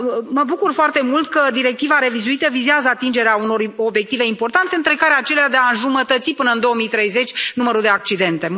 mă bucur foarte mult că directiva revizuită vizează atingerea unor obiective importante, între care acelea de înjumătăți până în 2030 numărul de accidente.